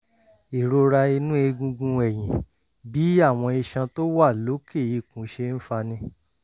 ìrora inú egungun ẹ̀yìn: bí àwọn iṣan tó wà lókè ikùn ṣe ń fani